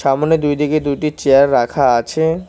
সামনে দুই দিকে দুইটি চেয়ার রাখা আছে।